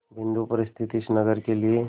बिंदु पर स्थित इस नगर के लिए